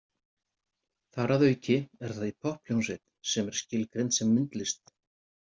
Þar að auki er það í popphljómsveit sem er skilgreind sem myndlist.